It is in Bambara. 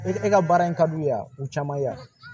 E ka baara in ka di u ye yan u caman ye yan